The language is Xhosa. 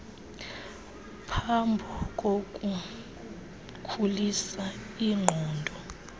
phambo kukukhulisa iingqondo